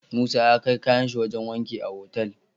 Musa ya kai kayan shi wajan wanki a Otal